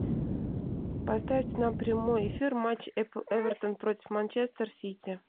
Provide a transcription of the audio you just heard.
поставить нам прямой эфир матч апл эвертон против манчестер сити